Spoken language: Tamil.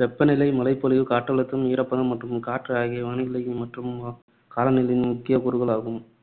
வெப்பநிலை, மழைப்பொழிவு, காற்றழுத்தம், ஈரப்பதம் மற்றும் காற்று ஆகியவை வானிலை மற்றும் காலநிலையின் முக்கிய கூறுகள் ஆகும்.